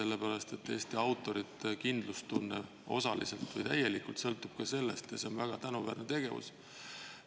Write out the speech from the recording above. Eesti autorite kindlustunne sõltub osaliselt või täielikult ka ja see on väga tänuväärne tegevus.